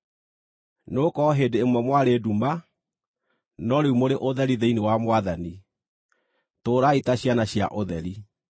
Nĩgũkorwo hĩndĩ ĩmwe mwarĩ nduma, no rĩu mũrĩ ũtheri thĩinĩ wa Mwathani. Tũũrai ta ciana cia ũtheri